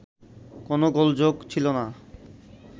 কোন গোলযোগ ছিল না